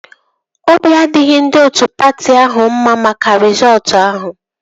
Obi adịghị ndị otu patị ahụ mma maka rịzọọtu ahụ